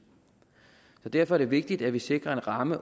derfor er det vigtigt at vi sikrer en ramme